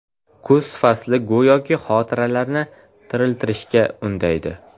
Kuz fasli go‘yoki xotiralarni tiriltirishga undaydi.